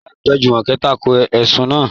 Láìpẹ́, Jùmọ̀kẹ́ tako ẹ̀sùn náà.